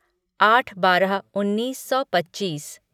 आठ बारह उन्नीस सौ पच्चीस